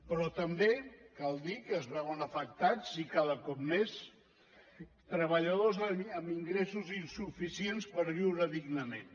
però també cal dir que es veuen afectats i cada cop més treballadors amb ingressos insuficients per viure dignament